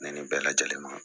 Ne ni bɛɛ lajɛlen ma